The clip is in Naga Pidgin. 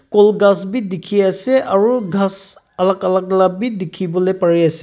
kol ghas b dikhi ase aro ghas alak alak la b dikhi bole pari ase.